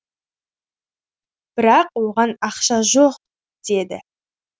бірақ оған ақша жоқ деді